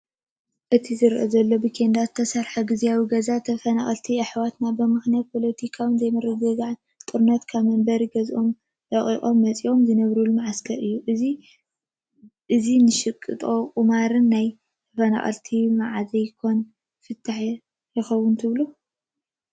እቲ ዝረአ ዘሎ ብኬንዳ ዝተሰርሐ ጊዜያዊ ገዛታት ተፈናቐልቲ ኣሕዋትና ብምኽንያትን ፖለቲካዊ ዘይምርግጋእን ጦርነትን ካብ መንበሪ ገዝኦም ለቒቖም መፂኦም ዝነብሩሉ ማዓስከር እዩ፡፡ እዚ ንሸቐጥን ቁማርን ናይ ተፈናቐልቲ ማዓዝ ኮን ክፍታሕ ይኾን ትብሉ?